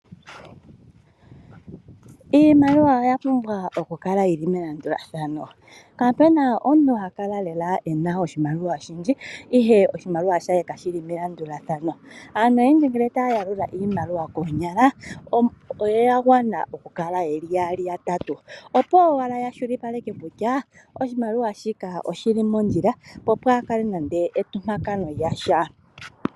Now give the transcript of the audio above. Iimaliwa oya pumbwa okukala yili melandulathano . Kapuna omuntu lela ena oshimaliwa oshindji ihe oshimaliwa she kashi li melandulathano . Aantu oyendji ngele taya yalula iimaliwa koonyala, oyagwa na okukala yeli yaali nenge yatatu opo yakwashilipaleka kutya oshimaliwa oshomondjila, opo pwaakale nando entompakano